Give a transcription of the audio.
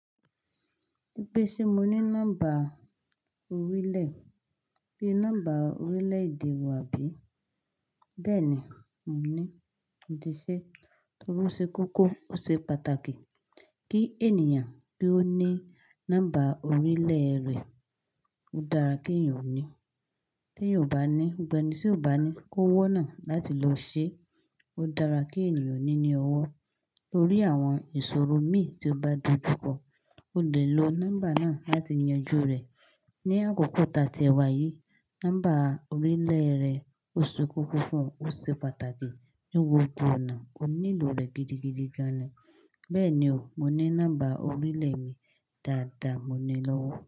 Bí ó ṣe mo ní nọ́mbà orílẹ̀, bí i nọ́mbà orílẹ̀ èdè wà bí? Bẹ́ẹ̀ni, mo ní. Mo ti ṣe torí ó ṣe kókó ó ṣe pàtàkì kí ènìyàn kí ó ní nọ́mbà orílẹ̀ rẹ̀. Ó dára kí ènìyàn ó ní. Tí ènìyàn ò bá ní, gbogbo ẹni tí ò bá ní kó wọ́n náà láti lọ ṣe. Ó dára kí ènìyàn ó ní ní ọwọ́. Torí àwọn ìṣòro mí tí ó bá di púpọ̀, o lè lo nọ́mbà náà láti yanju rẹ̀. Ni àkókò tatì ẹ̀wà yìí, nọ́mbà orílẹ̀ rẹ ó ṣe kókó fún ọ, ó ṣe pàtàkì. Ní gbogbo ọ̀nà, o nílò rẹ̀ gidigidi gan-an. Bẹ́ẹ̀ni o, mo ní nọ́mbà orílẹ̀ mi dáadáa, mo ní i lọ́wọ́.